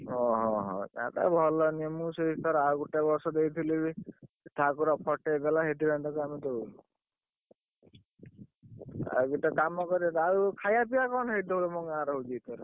ଓହୋ ତାର ତଭଲ ନୁହେଁ ମୁ ଆଉ ଗୋଟେ ବର୍ଷ ଦେଇଥିଲି ବି ଠାକୁର ଫଟେଇ ଦେଲା ସେଇଥିପାଇଁକି ଆମେ ତାକୁ ଦଉନୁ ଆଉ ଗୋଟେ କାମ କରିବ ଆଉ ଖାଇବା ପିବା କଣ ହେଇଥିବା ତମ ଗାଁ ରେ ହଉଛି ଏଇଥର।